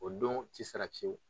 O don ti sara fiyewu.